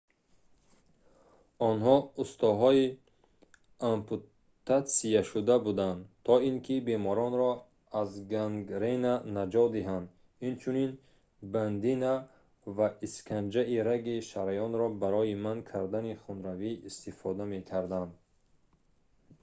онҳо устоҳои ампутатсия шуда буданд то ин ки беморонро аз гангрена наҷот диҳанд инчунин бандина ва исканҷаи раги шараёнро барои манъ кардани хунравӣ истифода мекарданд